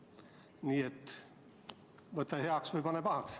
Nii et võta heaks või pane pahaks.